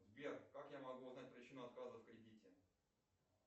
сбер как я могу узнать причину отказа в кредите